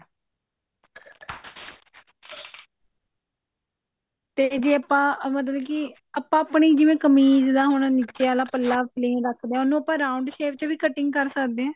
ਤੇ ਜੇ ਆਪਾਂ ਮਤਲਬ ਕੀ ਆਪਾਂ ਆਪਣੀ ਜਿਵੇਂ ਕਮੀਜ ਦਾ ਹੁਣ ਨੀਚੇ ਆਲਾ ਪੱਲਾ plain ਰੱਖਦੇ ਹਾਂ ਉਹਨੂੰ ਆਪਾਂ round shape ਚ ਵੀ cutting ਕਰ ਸਕਦੇ ਹਾਂ